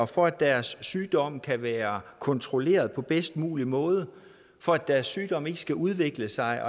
for at deres sygdom kan være kontrolleret på bedst mulig måde og for at deres sygdom ikke skal udvikle sig